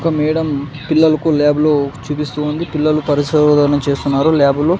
ఒక మేడం పిల్లలకు ల్యాబ్లో చూపిస్తూ ఉంది పిల్లలు పరిశోధన చేస్తున్నారు ల్యాబులో .